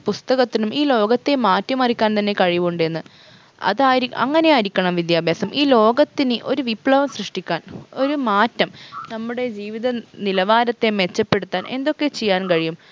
പുസ്തകത്തിനും ഈ ലോകത്തെ മാറ്റിമറിക്കാൻ തന്നെ കഴിവുണ്ട് എന്ന് അതായിരി അങ്ങനെയായിരിക്കണം വിദ്യാഭ്യാസം ഈ ലോകത്തിന് ഒരു വിപ്ലവം സൃഷ്ട്ടിക്കാൻ ഒരു മാറ്റം നമ്മുടെ ജീവിത നിലവാരത്തെ മെച്ചപ്പെടുത്താൻ എന്തൊക്കെ ചെയ്യാൻ കഴിയും